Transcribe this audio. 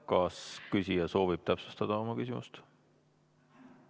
Kas küsija soovib täpsustada oma küsimust?